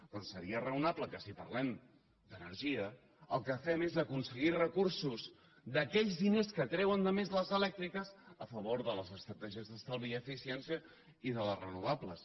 doncs seria raonable que si parlem d’energia el que fem és aconseguir recursos d’aquells diners que treuen de més les elèctriques a favor de les estratègies d’estalvi i eficiència i de les renovables